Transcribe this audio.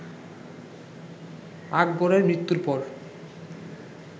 আকবরের মৃত্যুর পর